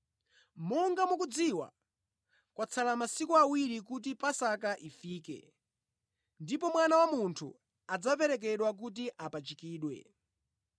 “Monga mukudziwa, kwatsala masiku awiri kuti Paska ifike ndipo Mwana wa Munthu adzaperekedwa kuti apachikidwe.”